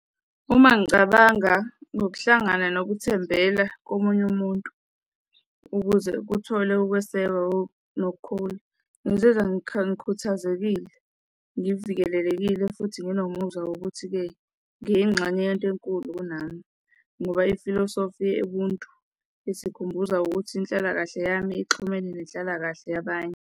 Uma ngicabanga ngokuhlangana nokuthembela komunye umuntu ukuze kuthole ukwesekwa nokukhula, ngizizwa ngikhuthazekile, ngivikelekekile futhi nginomuzwa wokuthi-ke ngeyinxenye yento enkulu kunami, ngoba ifilosofi yobuntu isikhumbuza ukuthi inhlalakahle yami exhumene nenhlalakahle yabanye.